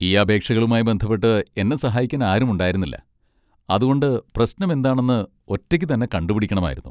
ഈ അപേക്ഷകളുമായി ബന്ധപ്പെട്ട് എന്നെ സഹായിക്കാൻ ആരുമുണ്ടായിരുന്നില്ല, അതുകൊണ്ട് പ്രശ്നമെന്താണെന്ന് ഒറ്റയ്ക്കുതന്നെ കണ്ടുപിടിക്കണമായിരുന്നു.